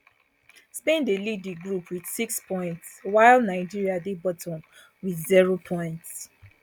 spain dey lead di group wit six points while nigeria dey bottom wit zero points